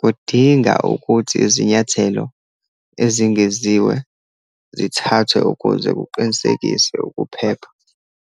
kudinga ukuthi izinyathelo ezingeziwe zithathwe ukuze kuqinisekiswe ukuphepha.